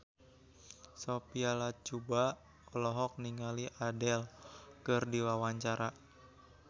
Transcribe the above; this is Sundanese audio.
Sophia Latjuba olohok ningali Adele keur diwawancara